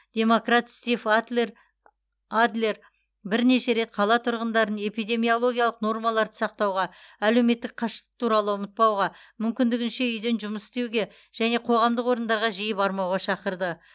демократ стив адлер бірнеше рет қала тұрғындарын эпидемиологиялық нормаларды сақтауға әлеуметтік қашықтық туралы ұмытпауға мүмкіндігінше үйден жұмыс істеуге және қоғамдық орындарға жиі бармауға шақырды